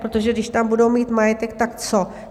Protože když tam budou mít majetek, tak co?